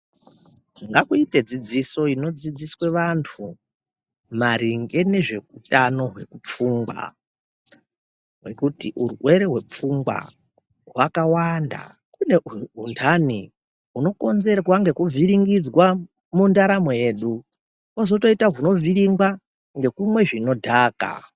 Ngakuite dzidziso inodzidziswe vantu, maringe nezveutano hwepfungwa, ngekuti urwere hwepfungwa, hwakawanda. Kune huntani, hunokonzerwa ngekuvhiringidzwa mundaramo yedu, kwozotoita hunovhiringwa ngekumwe zvinodhaka.